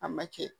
A ma kɛ